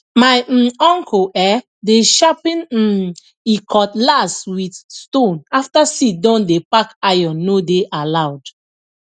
my um uncle um dey sharpen um e cutlass with stone after seed don dey pack iron no dey allowed